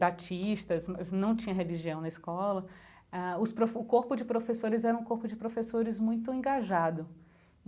batistas, não tinha religião na escola, ah os prof o corpo de professores era um corpo de professores muito engajado.